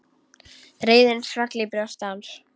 Reiðin svall í brjósti hans.